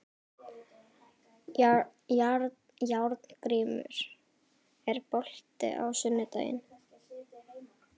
Járngrímur, er bolti á sunnudaginn?